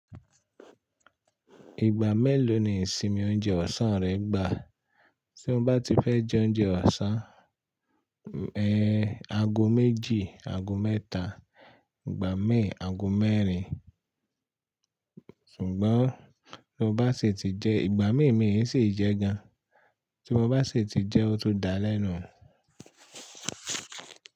Ìgbà mélòó ni ìsinmi oúnjẹ ọ̀sán rẹ gbà? Tí mo bá ti fẹ́ jẹ oúnjẹ ọ̀sán, ẹ, aago méjì, aago mẹ́ta, ìgbà min, aago mẹ́rin. Ṣùgbọ́n tí mo bá sì ti jẹ ìgbà min mi ii sì jẹ gan. Tí mo bá sì ti jẹ ó tó dalẹ́ nu un.